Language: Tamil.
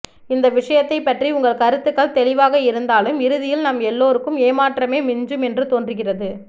இந்த விஷயத்தை பற்றி உங்கள் கருத்துகள் தெளிவாக இருந்தாலும் இறுதியில் நம் எல்லோருக்கும் ஏமாற்றமே மிஞ்சும் என்று தோன்றுகிறது